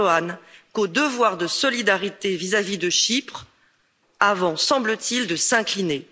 Erdoğan qu'au devoir de solidarité vis à vis de Chypre avant, semble t il, de s'incliner.